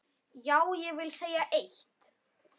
Já, ég vil segja eitt!